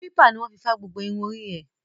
Kílípà ní wọ́n fi fá gbogbo irun orí ẹ̀.